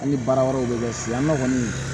An ni baara wɛrɛw bɛ kɛ finan ne kɔni